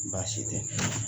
Baasi tɛ.